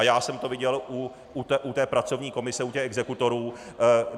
A já jsem to viděl u té pracovní komise, u těch exekutorů.